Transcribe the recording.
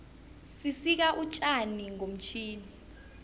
sisika utjani ngomtjhini